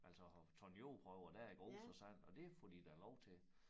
Altså have taget jordprøver dér i grus og sand og det får de da lov til